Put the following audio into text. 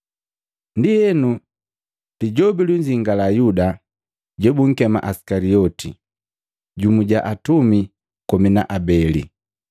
Ndienu, Lijobi lunzingia Yuda jo bunkema Isikalioti, jumu ja atumi komi na abele.